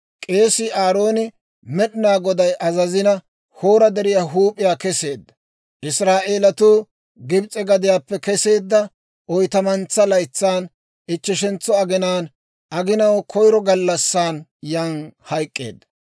K'eesii Aarooni Med'inaa Goday azazina, Hoora Deriyaa huup'iyaa keseedda; Israa'eelatuu Gibs'e gadiyaappe keseedda oytamuntsaa laytsan, ichcheshentso aginaan, aginaw koyiro gallassan yan hayk'k'eedda.